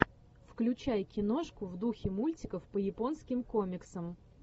включай киношку в духе мультиков по японским комиксам